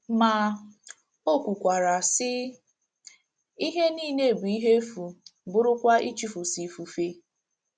Ma, o kwukwara, sị: “ Ihe niile bụ ihe efu, bụrụkwa ịchụso ifufe. ”